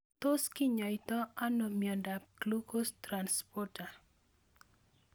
Tos kinyoitoi ano miondop glucose transporter